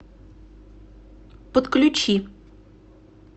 подключи